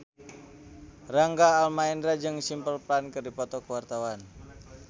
Rangga Almahendra jeung Simple Plan keur dipoto ku wartawan